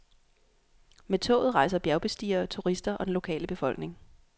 Med toget rejser bjergbestigere, turister og den lokale befolkning.